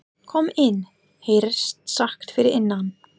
Kom inn, heyrðist sagt fyrir innan.